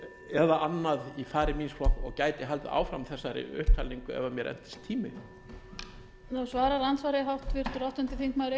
eða annað undan í fari míns flokks og gæti haldið áfram þessari upptalningu ef mér entist tími